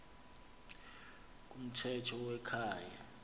kumthetho we kwaye